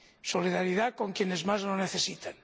solidaridad con quienes más lo necesitan.